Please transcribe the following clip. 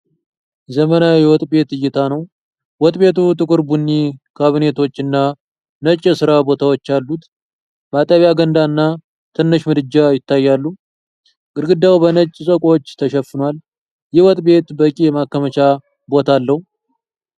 ዘመናዊ የወጥ ቤት እይታ ነው ። ወጥ ቤቱ ጥቁር ቡኒ ካቢኔቶች እና ነጭ የስራ ቦታዎች አሉት ። ማጠቢያ ገንዳና ትንሽ ምድጃ ይታያሉ ። ግድግዳው በነጭ ሰቆች ተሸፍኗል ። ይህ ወጥ ቤት በቂ የማከማቻ ቦታ አለው?